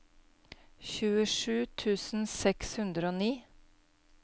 tjuesju tusen seks hundre og ni